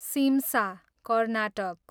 Simsa, Karnataka